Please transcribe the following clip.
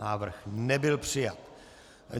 Návrh nebyl přijat.